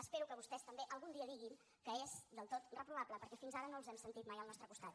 espero que vostès també algun dia diguin que és del tot reprovable perquè fins ara no els hem sentit mai al nostre costat